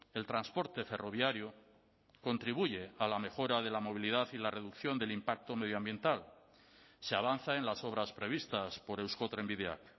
el transporte ferroviario contribuye a la mejora de la movilidad y la reducción del impacto medioambiental se avanza en las obras previstas por eusko trenbideak